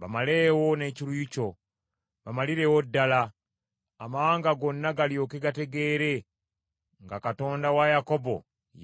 Bamaleewo n’ekiruyi kyo, bamalirewo ddala; amawanga gonna galyoke gategeere nga Katonda wa Yakobo